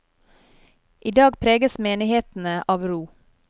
I dag preges menighetene av ro.